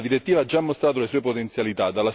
La direttiva ha già mostrato le sue potenzialità.